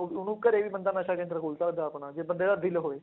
ਉਹ ਉਹਨੂੰ ਘਰੇ ਵੀ ਬੰਦਾ ਨਸ਼ਾ ਕੇਂਦਰ ਖੋਲ ਸਕਦਾ ਆਪਣਾ ਜੇ ਬੰਦੇ ਦਾ ਦਿੱਲ ਹੋਵੇ,